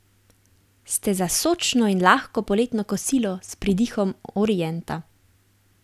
Ste za sočno in lahko poletno kosilo s pridihom orienta?